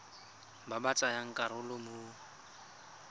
ba ba tsayang karolo mo